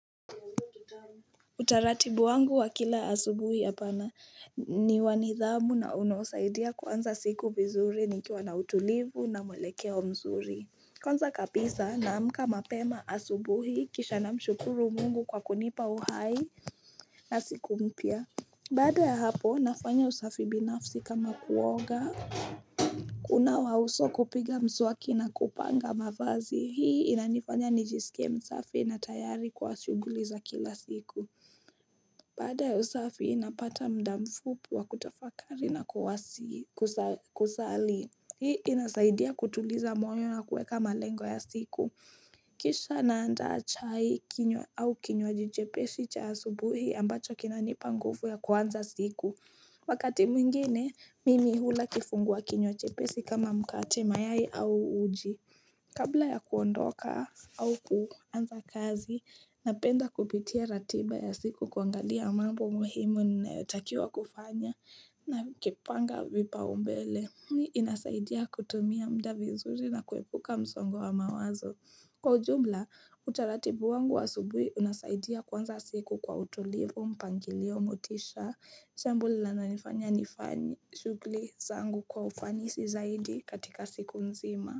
Utaratibu wangu wa kila asubuhi apana ni wa nidhamu na unaosaidia kuanza siku vizuri nikiwa na utulivu na mwelekeo mzuri Kwanza kabisa naamka mapema asubuhi kisha na mshukuru mungu kwa kunipa uhai na siku mpya Baada ya hapo nafanya usafi binafsi kama kuoga kunawa uso kupiga mswaki na kupanga mafazi hii inanifanya nijisike msafi na tayari kwa shuguli za kila siku Baada ya usafi napata mda mfupi wa kutafakari na kusali. Hii inasaidia kutuliza moyo na kuweka malengo ya siku. Kisha naandaa chai kinywa au kinywaji jepeshi cha asubuhi ambacho kinanipa nguvu ya kuanza siku. Wakati mwingine, mimi hula kifungua kinywa jepesi kama mkate mayai au uji. Kabla ya kuondoka au kuanza kazi, napenda kupitia ratiba ya siku kuangalia mambo muhimu nayotakiwa kufanya na kipanga vipaumbele. Inasaidia kutumia mda vizuri na kuepuka msongo wa mawazo. Kwa ujumla, utaratibu wangu wa asubuhi unasaidia kuanza siku kwa utulivu mpangilio motisha. Jambo linalonifanya nifanye shughuli zangu kwa ufanisi zaidi katika siku nzima.